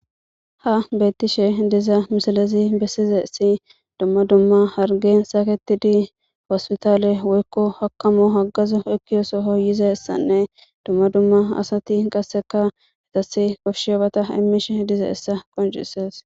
Ha beettishe diza misilezi bessizi dumma dumma hargen saketidi hospitaale woykko hakamo haggazu ekkiyo soho yizayssanne dumma dumma asati qasseka koshshiyabata immishe dizayssa qoncisees.